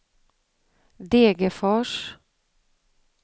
Degerfors